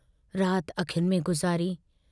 रात अखियुनि में गुज़ारी।